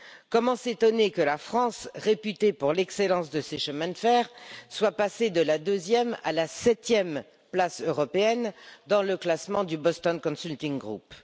Comment s'étonner que la France, réputée pour l'excellence de ses chemins de fer, soit passée de la deuxième à la septième place européenne dans le classement du Boston Consulting Group?